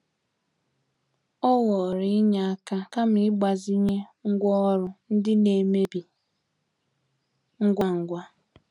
Ọ họọrọ inye aka kama ịgbazinye ngwa oru ndị na-amebi ngwa ngwa.